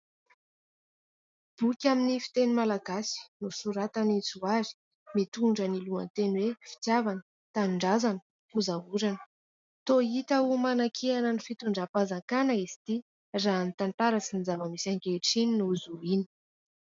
Boky amin'ny fiteny malagasy nosoratan'i Johary, mitondra ny lohateny hoe : "fitiavana, tanindrazana, fozaorana" . Toa hita ho manankiana ny fitondram-panjakana izy ity raha ny tantara sy ny zava-misy ankehitriny no zohina.